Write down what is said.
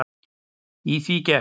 Í því gekk